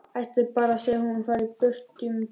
Ætlar bara að segja að hún fari burt um tíma.